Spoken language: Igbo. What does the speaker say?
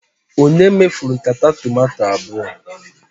Ònye mefuru nkata tomato abụọ?